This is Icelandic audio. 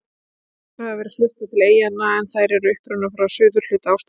Þrjár tegundir hafa verið fluttar til eyjanna en þær eru upprunnar frá suðurhluta Ástralíu.